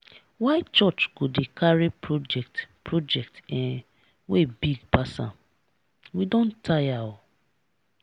why church go carry project project um wey big pass am? we don tire o.